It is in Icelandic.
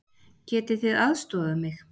Getið þið aðstoðað mig?